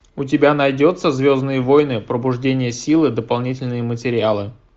у тебя найдется звездные воины пробуждение силы дополнительные материалы